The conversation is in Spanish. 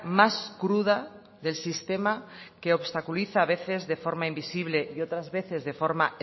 más cruda del sistema que obstaculiza a veces de forma invisible y otras veces de forma